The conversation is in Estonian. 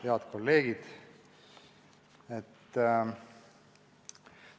Head kolleegid!